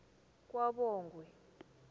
kwabongwe